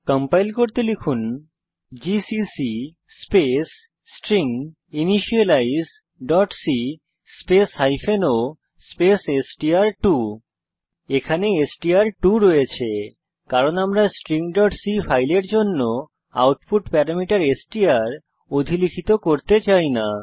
compile করতে লিখুন GCC space stringinitializeসি স্পেস o স্পেস এসটিআর2 এখানে এসটিআর2 রয়েছে কারণ আমরা stringসি ফাইলের জন্য আউটপুট প্যারামিটার এসটিআর অধিলিখিত করতে চাই না